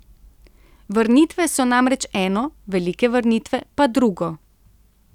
Vrnitve so namreč eno, velike vrnitve pa drugo.